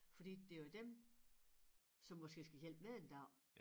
Fordi det jo dem som måske skal hjælpe mig en dag